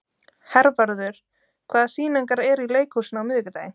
Hervarður, hvaða sýningar eru í leikhúsinu á miðvikudaginn?